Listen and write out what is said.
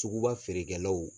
Sugu ba feerekɛlaw